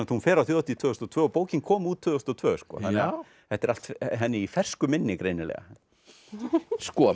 hún fer á þjóðhátíð tvö þúsund og tvö og bókin kom út tvö þúsund og tvö þetta er allt henni í fersku minni greinilega sko